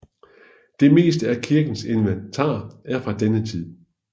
Det meste af kirkens inventar er fra denne tid